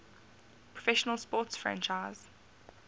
professional sports franchise